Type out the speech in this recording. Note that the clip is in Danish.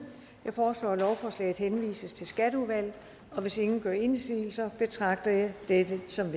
jeg foreslår at lovforslaget henvises til skatteudvalget og hvis ingen gør indsigelse betragter jeg dette som